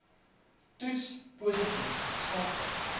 toets positief sulke